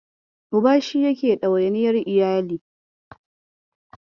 Uba shi yake ɗawainiyar iyali